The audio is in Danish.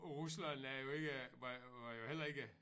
Rusland er jo ikke var var jo heller ikke